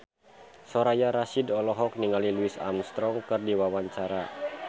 Soraya Rasyid olohok ningali Louis Armstrong keur diwawancara